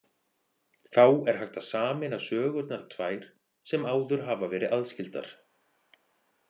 Þá er hægt að sameina sögurnar tvær sem áður hafa verið aðskildar.